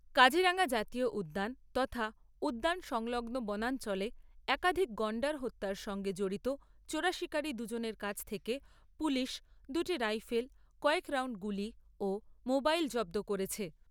কাজিরাঙ্গা জাতীয় উদ্যান তথা উদ্যান সংলগ্ন বনাঞ্চলে একাধিক গণ্ডার হত্যার সঙ্গে জড়িত চোরাশিকারী দুজনের কাছ থেকে পুলিশ দুটি রাইফেল, কয়েক রাউণ্ড গুলি ও মোবাইল জব্দ করেছে।